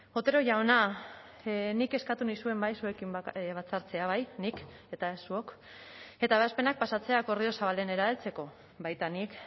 otero jauna nik eskatu nizuen bai zuekin batzartzea bai nik eta ez zuok eta ebazpenak pasatzea akordio zabalenera heltzeko baita nik